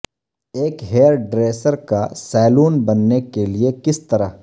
ایک ہیارڈریسر کا سیلون بننے کے لئے کس طرح